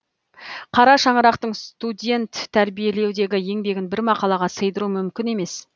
қара шаңырақтың студент тәрбиелеудегі еңбегін бір мақалаға сыйдыру мүмкін емес